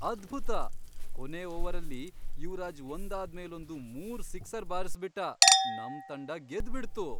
ಅದ್ಭುತ! ಕೊನೇ ಓವರಲ್ಲಿ ಯುವರಾಜ್ ಒಂದಾದ್ಮೇಲೊಂದು ಮೂರ್ ಸಿಕ್ಸರ್ ಬಾರ್ಸ್ಬಿಟ್ಟ, ನಮ್ ತಂಡ ಗೆದ್ಬಿಡ್ತು.